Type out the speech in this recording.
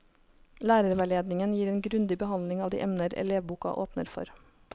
Lærerveiledningen gir en grundig behandling av de emner elevboka åpner for.